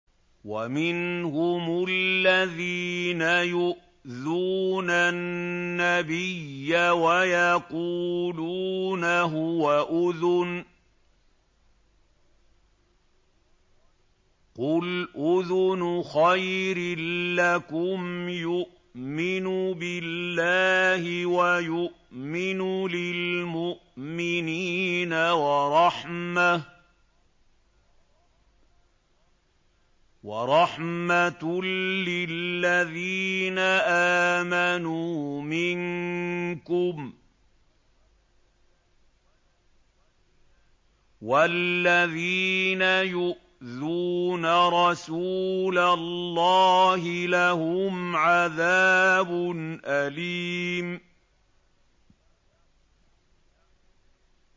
وَمِنْهُمُ الَّذِينَ يُؤْذُونَ النَّبِيَّ وَيَقُولُونَ هُوَ أُذُنٌ ۚ قُلْ أُذُنُ خَيْرٍ لَّكُمْ يُؤْمِنُ بِاللَّهِ وَيُؤْمِنُ لِلْمُؤْمِنِينَ وَرَحْمَةٌ لِّلَّذِينَ آمَنُوا مِنكُمْ ۚ وَالَّذِينَ يُؤْذُونَ رَسُولَ اللَّهِ لَهُمْ عَذَابٌ أَلِيمٌ